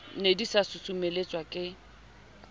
ne di sa susumeletswa ke